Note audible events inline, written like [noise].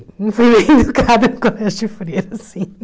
Não fui bem [laughs] educada no colégio de freira, sim.